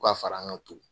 Ka fara an ka to